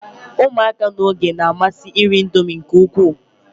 ụmụaka n'oge na-amasi iri Indomie nke ukwuu